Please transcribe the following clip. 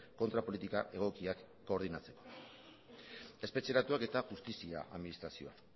kontrapolitika egokiak koordinatzeko espetxeratuak eta justizia administrazioa